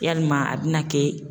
Yalima a bɛna kɛ